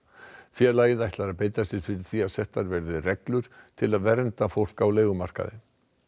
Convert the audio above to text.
félagið ætlar að beita sér fyrir því að settar verði reglur til að vernda fólk á leigumarkaði